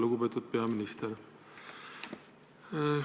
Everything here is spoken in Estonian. Lugupeetud peaminister!